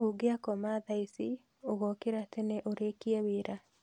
Ũngĩakoma thaa ici ũgokĩra tene ũrĩkie wĩra